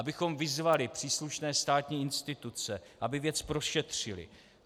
Abychom vyzvali příslušné státní instituce, aby věc prošetřily.